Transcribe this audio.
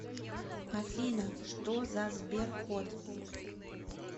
афина что за сберкот